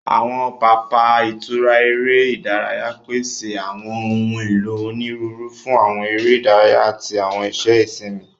Awọn papa itura ere idaraya pese awọn ohun elo oniruuru fun awọn ere idaraya ati awọn iṣẹ isinmi.